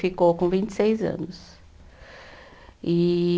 Ficou com vinte e seis anos. E